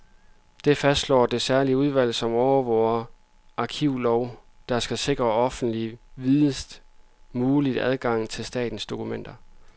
Det fastslår det særlige udvalg, som overvåger den arkivlov, der skal sikre offentligheden videst mulig adgang til statens dokumenter.